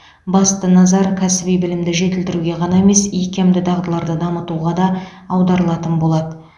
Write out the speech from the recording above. басты назар кәсіби білімді жетілдіруге ғана емес икемді дағдыларды дамытуға да аударылатын болады